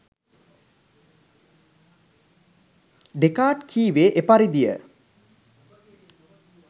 Descartes කීවේ එපරිදිය